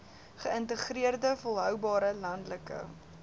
geïntegreerde volhoubare landelike